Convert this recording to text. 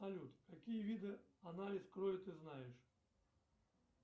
салют какие виды анализ крови ты знаешь